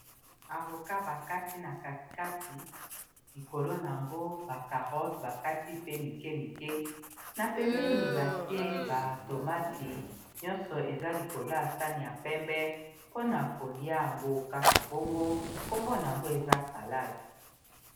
avokat bakati na katekati likolo na yango bacarote bakati pe mike mike na pembeni batie ba tomati nyonso eza likolo ya sani ya pembe mpona kolia yango kaka bongo nkombona yango eza salade